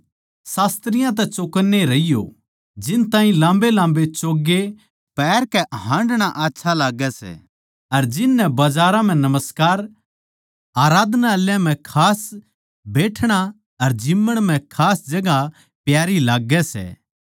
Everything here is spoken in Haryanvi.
शास्त्रियाँ तै चौकन्ने रहियो जिनताहीं लाम्बेलाम्बे चोगे पहरकै हांडणा आच्छा लाग्गै सै अर जिन नै बजारां म्ह नमस्कार अर आराधनालयाँ म्ह खास बैठणा अर जिम्मण म्ह खास जगहां प्यारी लाग्गै सै